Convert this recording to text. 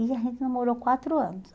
E a gente namorou quatro anos.